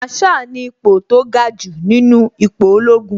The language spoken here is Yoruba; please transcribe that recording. Màrsháà ni ipo tó ga jù nínú ipò ológun